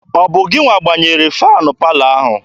Ọ bụ gị gbanyere faanị palọ ahụ?